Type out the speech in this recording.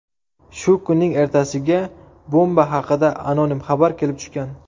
Shu kunning ertasiga bomba haqida anonim xabar kelib tushgan.